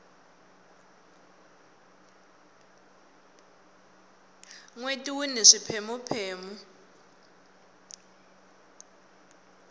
nweti wuni swipheme phemu